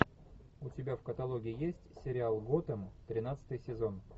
у тебя в каталоге есть сериал готэм тринадцатый сезон